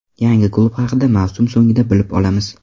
Yangi klub haqida mavsum so‘ngida bilib olamiz.